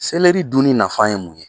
dunni nafa ye mun ye?